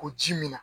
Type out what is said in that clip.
O ji min na